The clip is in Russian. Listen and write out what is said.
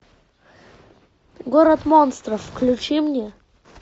город монстров включи мне